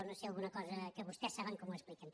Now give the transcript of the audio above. no ho sé alguna cosa que vostès saben com ho expliquen